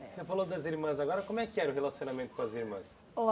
Você falou das irmãs agora, como é que era o relacionamento com as irmãs?